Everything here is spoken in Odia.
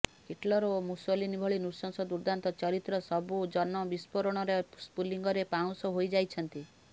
ହିଟ୍ଲର ଓ ମୁସୋଲିନୀ ଭଳି ନୃଶଂସ ଦୁର୍ଦ୍ଦାନ୍ତ ଚରିତ୍ରସବୁ ଜନ ବିସ୍ଫୋରଣର ସ୍ଫୁଲିଙ୍ଗରେ ପାଉଁଶ ହୋଇଯାଇଛନ୍ତି